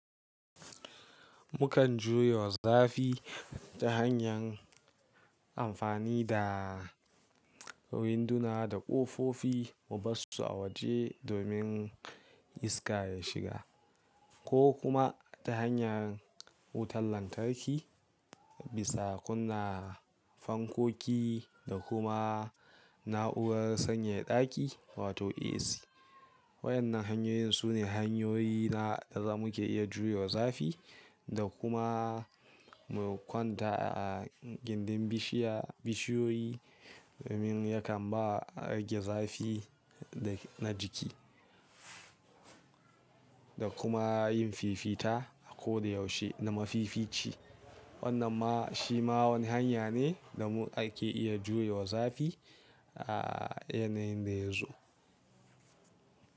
Mukan juyo zafi ta hanyan amfani da winduna da ƙofofi mu bassu a waje domin iska ya shiga ko kuma ta hanyar wutar lantarki, bisa kunna fankoki da kuma na'urar sanyaya ɗaki wato AC. Waɗannan hanyoyin su ne hanyoyi na da zamu iya jure wa zafi da kuma mu kwanta a gindin bishiya- bishiyoyi domin yakan ba rage zafi na jiki da kuma yin fifita a ko da yaushe na mafifici. Wannan ma shi ma wani hanya ne da ake iya juye wa zafi a yanayin da yazo.